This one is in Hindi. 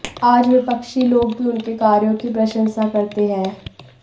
आज विपक्षी लोग भी उनके कार्यों की प्रशंसा करते हैं